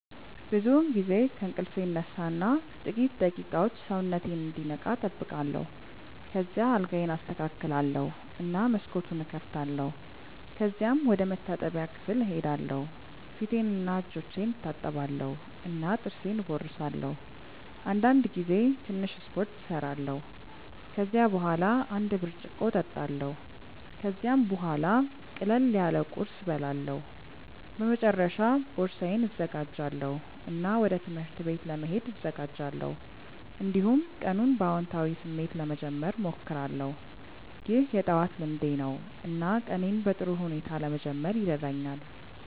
ብዙውን ጊዜ ከእንቅልፌ እነሳ እና ጥቂት ደቂቃዎች ሰውነቴን እንዲነቃ እጠብቃለሁ። ከዚያ አልጋዬን አስተካክላለሁ እና መስኮቱን እከፍታለሁ። ከዚያም ወደ መታጠቢያ ክፍል እሄዳለሁ ፊቴንና እጆቼን እታጠባለሁ እና ጥርሴን እቦርሳለሁ። አንዳንድ ጊዜ ትንሽ ስፖርት እሰራለሁ። ከዚያ በኋላ አንድ ብርጭቆ እጠጣለሁ። ከዚያም ቡሃላ ቅለል ያለ ቁርስ እበላለሁ። በመጨረሻ ቦርሳዬን እዘጋጃለሁ እና ወደ ትምህርት ቤት ለመሄድ እዘጋጃለሁ። እንዲሁም ቀኑን በአዎንታዊ ስሜት ለመጀመር እሞክራለሁ። ይህ የጠዋት ልምዴ ነው እና ቀኔን በጥሩ ሁኔታ ለመጀመር ይረዳኛል።